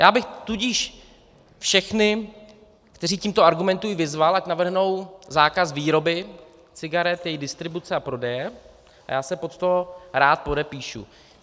Já bych tudíž všechny, kteří tímto argumentují, vyzval, ať navrhnou zákaz výroby cigaret, jejich distribuce a prodeje, a já se pod to rád podepíšu.